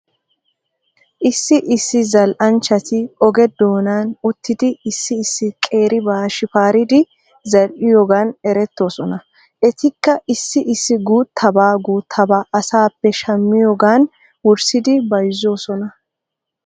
Issi issi zal'anchchati oge doonan uttidi issi issi qeeribaa shifaaridi zal''iyoogan eretoosona. Etikka issi issi guutabaa guttabaa asaappe shammiyoogan worissidi bayzoosona.